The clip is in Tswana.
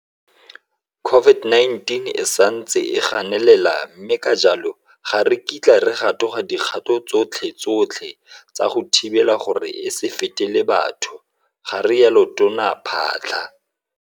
COVID-19 e santse e ganelela mme ka jalo ga re kitla re gatoga dikgato tsotlhe tsotlhe tsa go thibela gore e se fetele batho, garialo Tona Phaahla.